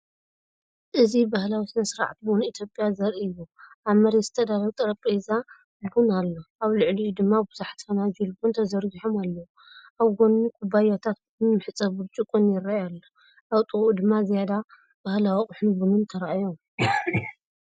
እዚ ባህላዊ ስነ-ስርዓት ቡን ኢትዮጵያ ዘርኢ እዩ። ኣብ መሬት ዝተዳለወ ጠረጴዛ ቡን ኣሎ፣ ኣብ ልዕሊኡ ድማ ብዙሓት ፋናጅል ቡን ተዘርጊሖም ኣለዉ። ኣብ ጎድኑ ኩባያታት ቡንን መሕጸቢ ብርጭቆን ይረኣይ ኣሎ። ኣብ ጥቓኡ ድማ ዝያዳ ባህላዊ ኣቑሑትን ቡንን ተራእዮም።